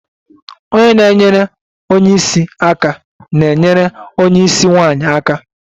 Onye na-enyere onye isi aka na-enyere onye isi nwanyị aka